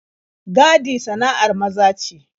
Gadi sana'ar maza ce.